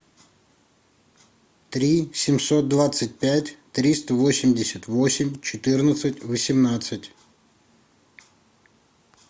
три семьсот двадцать пять триста восемьдесят восемь четырнадцать восемнадцать